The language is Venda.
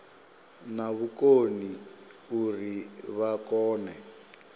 na vhukoni uri vha kone